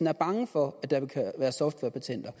er bange for at der vil være softwarepatenter